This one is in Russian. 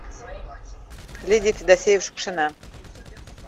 лидия федосеева шукшина